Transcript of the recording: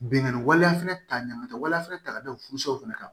Bingani waleya fana ta ɲama tɛ waleya fana ta ka gɛlɛn furusow fana kan